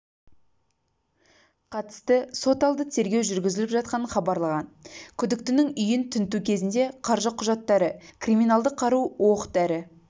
қатысты соталды тергеу жүргізіліп жатқанын хабарлаған күдіктінің үйін тінту кезінде қаржы құжаттары криминалдық қару оқ-дәрі